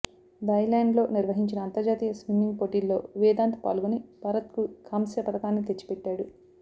థాయ్లాండ్లో నిర్వహించిన అంతర్జాతీయ స్విమ్మింగ్ పోటీల్లో వేదాంత్ పాల్గొని భారత్కు కాంస్య పతకాన్ని తెచ్చిపెట్టాడు